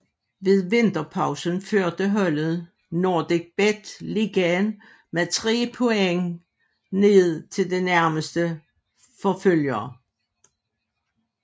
Ved vinterpausen førte holdet NordicBet Ligaen med tre point ned til den nærmeste forfølger